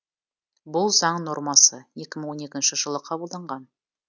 бұл заң нормасы екі мың он екінші жылы қабылданған